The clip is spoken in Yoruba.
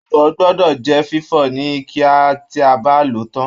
Abọ́ gbọdọ jẹ fifọ ni kíá tí a bá lòó tán.